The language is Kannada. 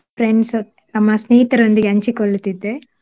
Friends ಹತ್~ ನಮ್ಮ ಸ್ನೇಹಿತರೊಂದಿಗೆ ಹಂಚಿಕೊಳ್ಳುತ್ತಿದ್ದೆ.